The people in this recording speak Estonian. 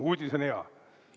Uudis on hea!